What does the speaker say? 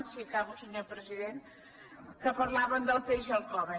sí acabo senyor president que parlaven del peix al cove